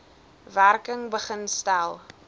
werking begin stel